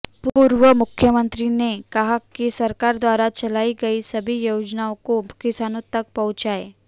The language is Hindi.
पूर्व मुख्यमंत्री ने कहा कि सरकार द्वारा चलाई गई सभी योजनाओं को किसानों तक पहुंचाएं